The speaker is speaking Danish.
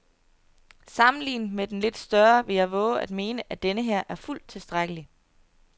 Sammenlignet med den lidt større vil jeg vove at mene, at denneher er fuldt tilstrækkelig.